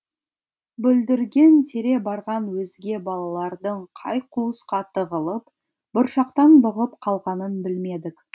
бүлдірген тере барған өзге балалардың қай қуысқа тығылып бұршақтан бұғып қалғанын білмедік